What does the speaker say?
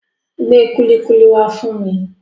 Gbé kúlíkúlí wá fún mi.